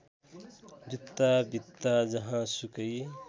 जुत्ता भित्ता जहाँसुकै